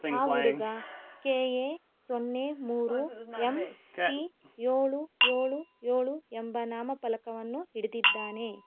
ಆ ಹುಡುಗ ಕೆ_ಎ ಸೊನ್ನೆ ಮೂರೂ ಎಂ_ಟಿ ಏಳು ಏಳು ಏಳು ಎಂಬ ನಾಮ ಫಲಕವನ್ನು ಹಿಡಿದಿದ್ದಾನೆ.